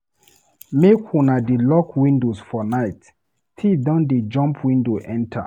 Make una dey lock windows for night, tif dem don dey jump window enta.